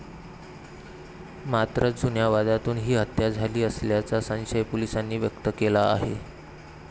मात्र, जुन्या वादातून ही हत्या झाली असाल्याचा संशय पोलीसांनी व्यक्त केला आहे.